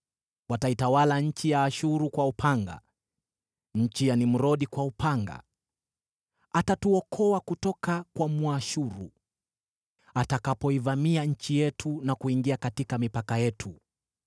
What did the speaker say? Wataitawala nchi ya Ashuru kwa upanga, nchi ya Nimrodi kwa upanga. Atatuokoa kutoka kwa Mwashuru atakapoivamia nchi yetu na kuingia katika mipaka yetu.